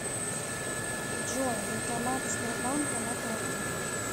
джой банкоматы сбербанка на карте